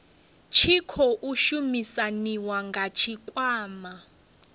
tshi khou shumisaniwa na tshikwama